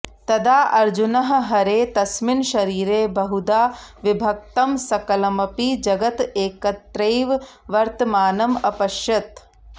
तदा अर्जुनः हरेः तस्मिन् शरीरे बहुधा विभक्तं सकलमपि जगत् एकत्रैव वर्तमानम् अपश्यत्